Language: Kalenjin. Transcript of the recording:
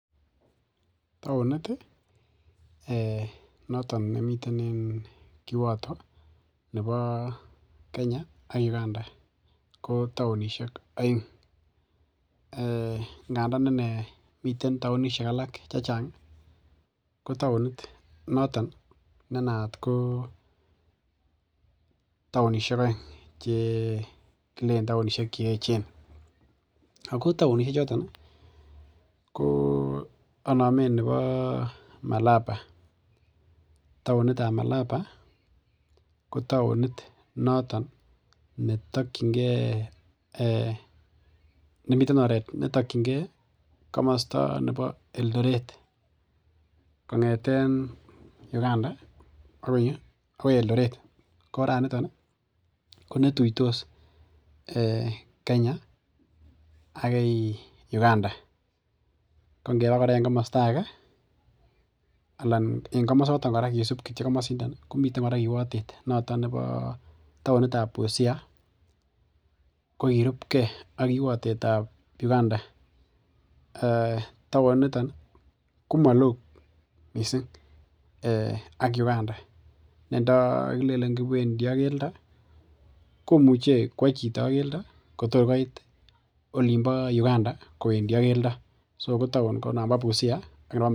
Taonit ih um noton nemiten kiwato nebo Kenya ak Uganda ko taonisiek aeng, um ingadaan ine miten taonisiek alak chechang ih ko taonit nenaat ko taonisiek aeng. Kilen taonisiek cheechen ako taonisiek choton ih ko anamen nebo malaba. Taonitab malaba ko taonit noton netakienge , nemiten oret netakienge komasto nebo Eldoret. Kong'eten Uganda ih akoi kuoo Eldoret ko oraat niton ih ko neitutos Kenya agoi Uganda ko ingeba kora en kamasta age ko kisub kityo kamasindo ih komi kiwotet noto taonitab busia. Ko kirupke ak kiwatet tab Uganda taonit niton komalo missing ak Uganda nenda kialen kiwendi ak keldo komuche kua chito ak keldo kotorkoit. Olimbo Uganda kuendi ak keldo. Ko taon ko nambo busia.